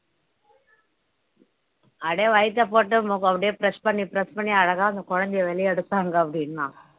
அப்படியே வயித்தைப் போட்டு அப்படியே press பண்ணி press பண்ணி அழகா அந்த குழந்தையை வெளியே எடுத்தாங்க அப்படின்னான்